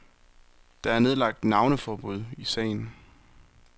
Der er nedlagt navneforbud i sagen.